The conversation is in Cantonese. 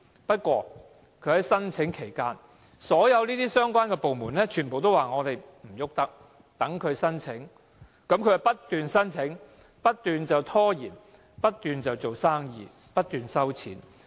不過，在忠和精舍申請期間，所有相關部門都表示無法處理，容許它申請，於是它便不斷申請、拖延，不斷做生意、收錢。